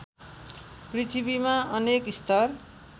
पृथ्वीमा अनेक स्तर